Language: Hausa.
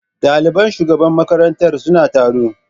Ɗaliban shugaban makarantar suna taro.